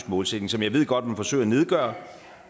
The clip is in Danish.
målsætning som jeg godt ved man forsøger at nedgøre